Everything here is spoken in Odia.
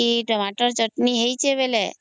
କି Tomato ଚଟଣି ହେଇଚି ହେଲେ